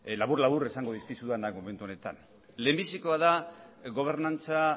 labur labur esango dizkizut lehendabizikoa da gobernantza